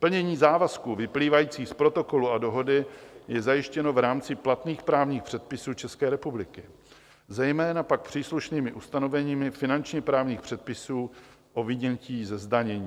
Plnění závazků vyplývajících z Protokolu a Dohody je zajištěno v rámci platných právních předpisů České republiky, zejména pak příslušnými ustanovením finančně právních předpisů o vynětí ze zdanění.